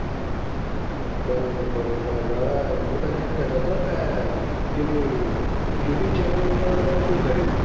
બરાબર બરાબર હું તને એમ કેતો હતો કે પેલી youtube channel નું સુ કર્યું.